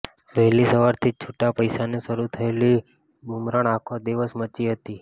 વહેલી સવારથી જ છૂટા પૈસાની શરૃ થયેલી બુમરાણ આખો દિવસ મચી હતી